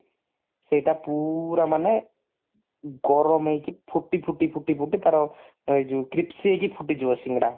ସେଇଟା ପୁରା ମାନେ ଗରମ ହେଇକି ଫୁଟି ଫୁଟି ଫୁଟି ଫୁଟି ତାର ଏ ଯଉ crispy ହେଇକି ଫୁଟିଯିବ ସିଙ୍ଗଡା